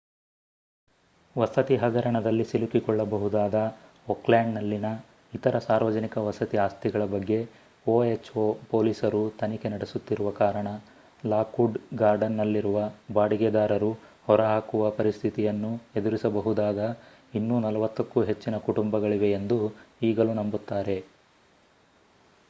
ವಸತಿ ಹಗರಣದಲ್ಲಿ ಸಿಲುಕಿಕೊಳ್ಳಬಹುದಾದ ಓಕ್ಲ್ಯಾಂಡ್‌ನಲ್ಲಿನ ಇತರ ಸಾರ್ವಜನಿಕ ವಸತಿ ಆಸ್ತಿಗಳ ಬಗ್ಗೆ ಒಎಚ್‌ಎ ಪೊಲೀಸರು ತನಿಖೆ ನಡೆಸುತ್ತಿರುವ ಕಾರಣ ಲಾಕ್ವುಡ್ ಗಾರ್ಡನ್‌ನಲ್ಲಿರುವ ಬಾಡಿಗೆದಾರರು ಹೊರಹಾಕುವ ಪರಿಸ್ಥಿತಿಯನ್ನು ಎದುರಿಸಬಹುದಾದ ಇನ್ನೂ 40 ಕ್ಕೂ ಹೆಚ್ಚಿನ ಕುಟುಂಬಗಳಿವೆಯೆಂದು ಈಗಲೂ ನಂಬುತ್ತಾರೆ